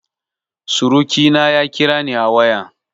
Surukina ya kirani a waya